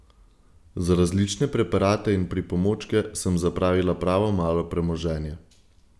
Za različne preparate in pripomočke sem zapravila pravo malo premoženje.